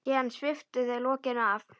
Síðan sviptu þau lokinu af.